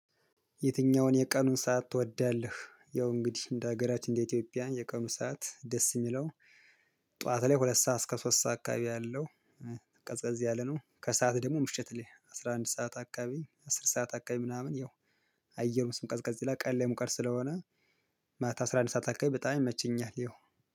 የትኛውን የቀኑን ሰዓት ትወዳለህ? ያው እንግዲህ እንደ ሀገራችን እንደ ኢትዮጵያ የቀኑን ሰዓት ደስ ሚለው ጠዋት ላይ ሁለት ሰዓት እስከ ሶስት ሰዓት አካባቢ ያለው። እ ቀዝቀዝ ያለ ነው። ከሰአት ደግሞ ምሽት ላይ አስራ አንድ ሰዓት አካባቢ አስር ሰዓት አካባቢ ምናምን ያው። አየር ስም ቀዝቀዝ ቀንላይ ሙቀር ስለሆነ። ማታ አስራ አንድ ሰዓት አካባቢ በጣም ይመችኛል። ያው